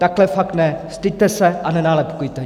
Takhle fakt ne, styďte se a nenálepkujte!